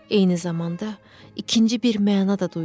Eyni zamanda, ikinci bir məna da duydum.